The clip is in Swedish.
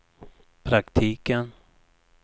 praktiken